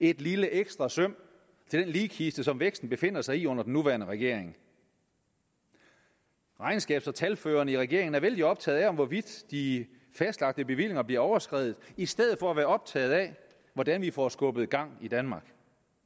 et lille ekstra søm til den ligkiste som væksten befinder sig i under den nuværende regering regnskabs og talførende i regeringen er vældig optaget af hvorvidt de fastlagte bevillinger bliver overskredet i stedet for at være optaget af hvordan vi får skubbet gang i danmark